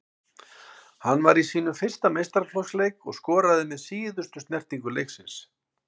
Hann var í sínum fyrsta meistaraflokksleik og skoraði með síðustu snertingu leiksins.